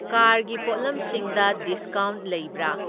ꯀꯥꯔꯒꯤ ꯄꯣꯠꯂꯝꯁꯤꯡꯗ ꯗꯤꯁꯀꯥꯎꯟ ꯂꯩꯕ꯭ꯔꯥ?